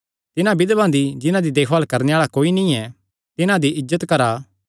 तिन्हां बिधवां दी जिन्हां दी देखभाल करणे आल़ा कोई नीं ऐ तिन्हां दी इज्जत करा